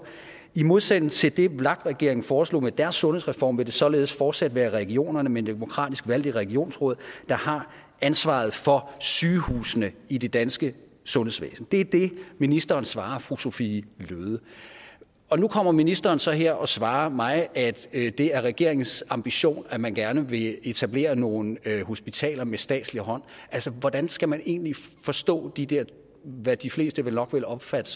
i modsætning til det vlak regeringen foreslog med deres sundhedsreform vil det således fortsat være regionerne med demokratisk valgte regionsråd der har ansvaret for sygehusene i det danske sundhedsvæsen det er det ministeren svarer fru sophie løhde og nu kommer ministeren så her og svarer mig at det er regeringens ambition at man gerne vil etablere nogle hospitaler med statslig hånd altså hvordan skal man egentlig forstå de der hvad de fleste vel nok vil opfatte